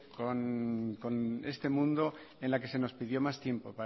con este mundo en la que se nos pidió más tiempo